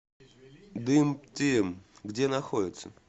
дымтим где находится